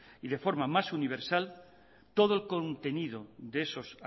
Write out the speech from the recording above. y de forma más universal todo el contenido de esos